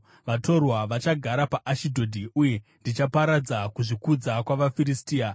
Vatorwa vachagara paAshidhodhi, uye ndichaparadza kuzvikudza kwavaFiristia.